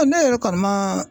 Ne yɛrɛ kɔni man